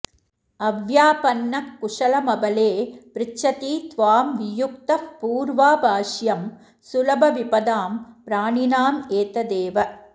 अव्यापन्नः कुशलमबले पृच्छति त्वां वियुक्तः पूर्वाभाष्यं सुलभविपदां प्राणिनामेतदेव